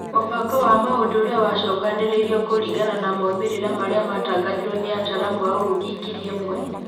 Mũbango wa maũndũ ũrĩa wacokanĩrĩirio kũringana na moimĩrĩra maria matangathirwo nĩ ataaramu a ũrugi ngiri ĩmwe.